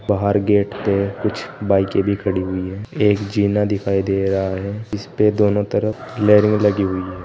बाहर गेट पे कुछ बाईकें भी खड़ी हुई है एक जीना दिखाई दे रहा है जिसपे दोनों तरफ रेलिंग लगी हुई है।